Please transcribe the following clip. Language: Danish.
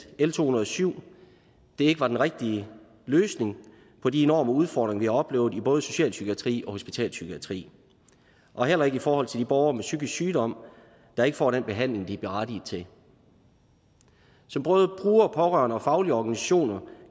l to hundrede og syv ikke var den rigtige løsning på de enorme udfordringer vi har oplevet i både socialpsykiatrien og hospitalspsykiatrien og heller ikke i forhold til de borgere med psykisk sygdom der ikke får den behandling de er berettiget til som både brugere pårørende og faglige organisationer